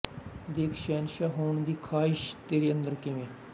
ਦੇਖ ਸ਼ਹਿਨਸ਼ਾਹ ਹੋਣ ਦੀ ਖਾਹਿਸ਼ ਤੇਰੇ ਅੰਦਰ ਕਿਵੇਂ